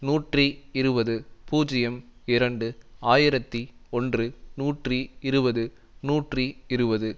நூற்றி இருபது பூஜ்ஜியம் இரண்டு ஆயிரத்தி ஒன்று நூற்றி இருபது நூற்றி இருபது